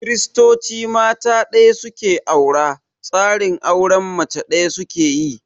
Kiristoci mata ɗaya su ke aura, tsarin auren mace ɗaya su ke yi.